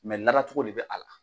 lada cogo de bɛ a la.